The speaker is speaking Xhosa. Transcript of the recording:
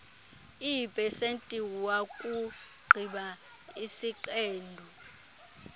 eepesenti wakugqiba isiqendu